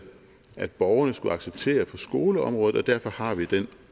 at borgerne skulle acceptere på skoleområdet og derfor har vi den